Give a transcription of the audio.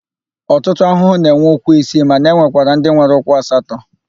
Ọtụtụ ahụhụ na-enwe ụkwụ isii mana e nwekwara ndị nwere ụkwụ asatọ.